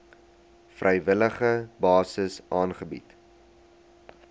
vrywillige basis aangebied